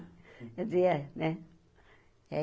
Quer dizer, né?